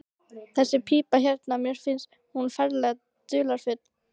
Þessi pípa hérna. mér finnst hún ferlega dularfull.